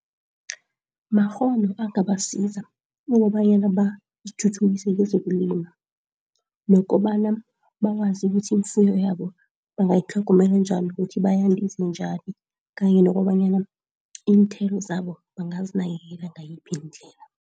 Makghono angabasiza ukobanyana bazithuthukise kezokulima nokobana bakwazi ukuthi ifuyo yabo bangayi tlhogomela njani, ukuthi bayandise njani kanye nokobanyana iinthelo zabo bangazinakekela ngayiphi indlela.